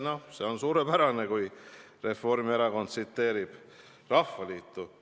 No see on suurepärane, kui Reformierakond tsiteerib Rahvaliitu!